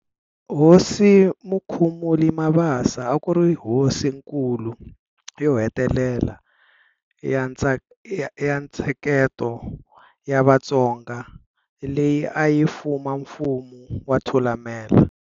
Hosi Mukhumuli Mabasa a ku ri Hosinkulu yo hetelela ya ntsheketo ya Vatsonga leyi a yi fuma Mfumo wa Thulamela.